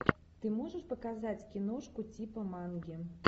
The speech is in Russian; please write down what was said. ты можешь показать киношку типа манги